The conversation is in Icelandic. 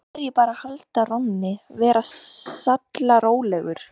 Nú verð ég bara að halda rónni, vera sallarólegur.